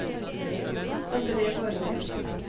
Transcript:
Andre Borge